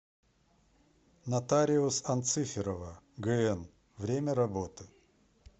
нотариус анциферова гн время работы